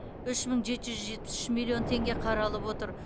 үш мың жеті жүз жетпіс үш миллион теңге қаралып отыр